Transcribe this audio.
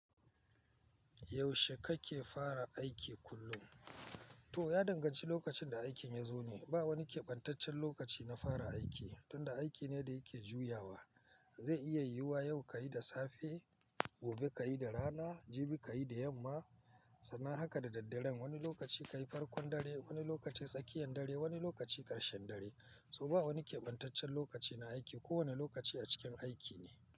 Yaushe kake fara aiki kullum? To ya danganci lokacin da aikin ya zo ne. Ba wani keɓantaccen lokaci na fara aiki tunda aiki ne da yake juyawa. Zai iya yiwuwa yau ka yi da safe, gobe ka yi da rana, jibi ka yi da yamma sannan haka da daddare. Wani lokaci ka yi farkon dare, wani lokaci tsakiyan dare, wani lokaci karshen dare. So ba wani keɓantaccen lokaci na aiki. Ko wane lokaci a cikin aiki ne.